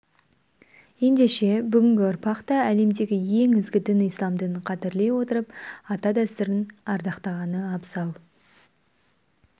ендеше бүгінгі ұрпақ та әлемдегі ең ізгі дін ислам дінін қадірлей отырып ата дәстүрін ардақтағаны абзал